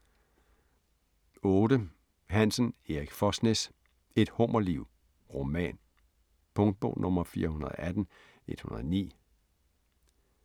8. Hansen, Erik Fosnes: Et hummerliv: roman Punktbog 418109